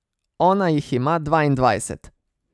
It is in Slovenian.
Ona jih ima dvaindvajset.